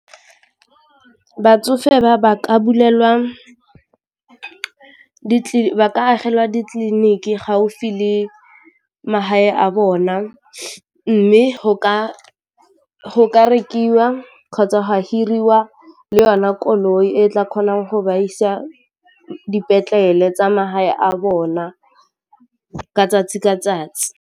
Batsofe ba ba ka bulelwa ka agelelwa ditleliniki gaufi le magae a bona mme go ka go ka rekiwa go hirwa le yona koloi e tla kgonang go ba isa dipetlele tsa magae a bona ka 'tsatsi ka 'tsatsi.